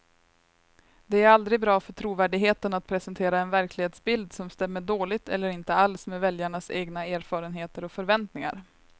Det är aldrig bra för trovärdigheten att presentera en verklighetsbild som stämmer dåligt eller inte alls med väljarnas egna erfarenheter och förväntningar.